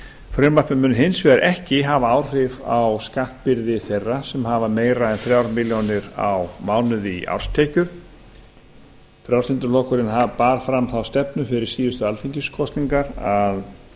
frumvarpið mun hins vegar ekki hafa áhrif á skattbyrði þeirra sem hafa meira en þrjár milljónir á mánuði í árstekjur frjálslyndi flokkurinn bar fram þá stefnu fyrir síðustu alþingiskosningar að